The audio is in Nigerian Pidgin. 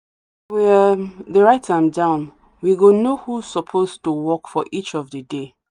um dey write am down we go know who suppose to work for each of the day